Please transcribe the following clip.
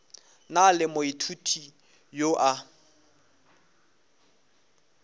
na le moithuti yo a